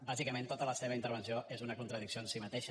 bàsicament tota la seva intervenció és una contradicció en si mateixa